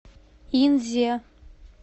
инзе